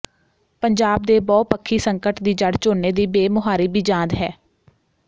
ਪੰਜਾਬ ਦੇ ਬਹੁਪੱਖੀ ਸੰਕਟ ਦੀ ਜੜ੍ਹ ਝੋਨੇ ਦੀ ਬੇਮੁਹਾਰੀ ਬੀਜਾਂਦ ਹੈ